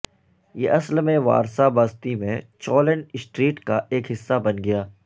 یہ اصل میں وارسا بستی میں چولن سٹریٹ کا ایک حصہ بن گیا